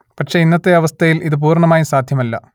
പക്ഷെ ഇന്നത്തെ അവസ്ഥയിൽ ഇത് പൂർണമായും സാധ്യമല്ല